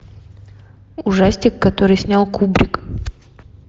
ужастик который снял кубрик